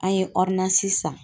An ye sisan.